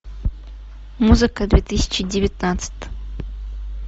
музыка две тысячи девятнадцать